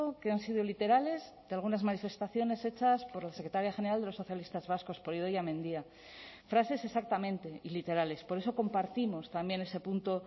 que han sido literales de algunas manifestaciones hechas por la secretaria general de los socialistas vascos por idoia mendia frases exactamente y literales por eso compartimos también ese punto